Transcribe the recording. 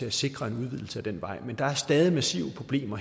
at sikre en udvidelse af den vej men der er stadig massive problemer